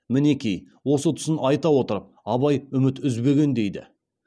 мінекей осы тұсын айта отырып абай үміт үзбеген дейді